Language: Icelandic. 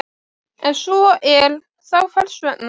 Ef svo er, þá hvers vegna?